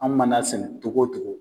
An mana sɛnɛ togo togo